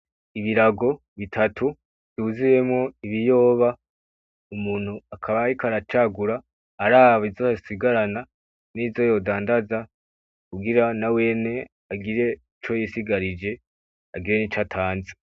Ibirago bitatu vyuzuyemwo ibiyoba, umuntu akaba ariko aracagura araba izo yosigarana nizo yodandaza kugira nawene agire ico yisigarije agire nico atanze.